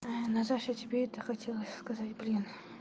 наташа тебе это хотелось сказать блин